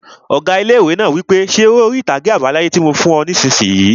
Ọgá ilé-ìwé náà wí pé 'Ṣe eré orí-ìtàgé àbá láyé tí mo fún ọ nisinyi!